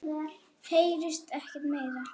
Heyrist ekkert meira.